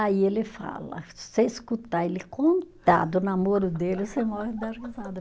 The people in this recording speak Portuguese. Aí ele fala, se você escutar ele contar do namoro dele, você morre de dar risada